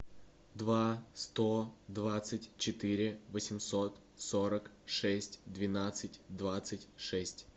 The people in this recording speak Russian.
два сто двадцать четыре восемьсот сорок шесть двенадцать двадцать шесть